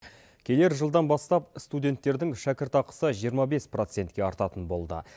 келер жылдан бастап студенттердің шәкіртақысы жиырма бес процентке артатын болды